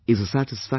Mohan of Tamilnadu